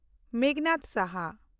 ᱢᱮᱜᱷᱱᱟᱫᱽ ᱥᱟᱦᱟ